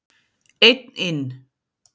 Einn inn.